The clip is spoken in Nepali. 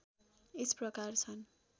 यस प्रकार छन्